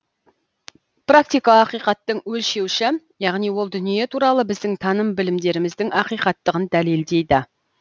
практика ақиқаттың өлшеуіші яғни ол дүние туралы біздің таным білімдеріміздің ақиқаттығын дәлелдейді